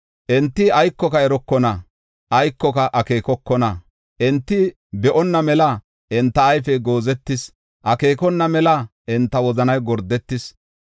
Enti aykoka erokona; aykoka akeekokona; enti be7onna mela enta ayfey goozetis; akeekona mela enta wozanay gordetis.